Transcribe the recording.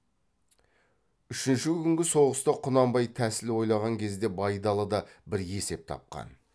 үшінші күнгі соғыста құнанбай тәсіл ойлаған кезде байдалы да бір есеп тапқан